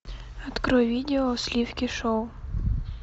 открой видео сливки шоу